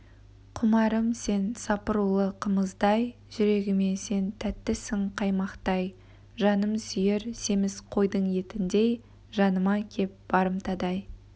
құмарым сен сапырулы қымыздай жүрегіме сен тәттісің қаймақтай жаным сүйер семіз қойдың етіндей жаныма кеп барымтадай